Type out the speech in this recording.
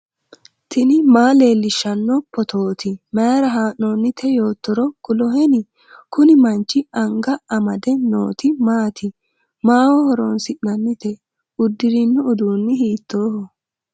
tini maa leellishshanno phootooti mayra haa'noonnite yoottoro kuloheni ? kuni manchi anga amade nooti maati ? maaho horoonsi'nanite uddirino uduunni hiittoho?